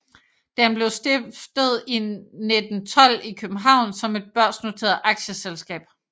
Den blev stiftet 1912 i København som et børsnoteret aktieselskab